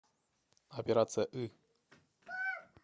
операция ы